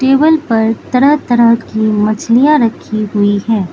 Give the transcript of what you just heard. Table पर तरह तरह की मछलियां रखी हुई है।